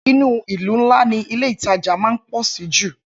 Inú ìlú ńlá ni Ilé-ìtajà máa ń pọ̀ sí jù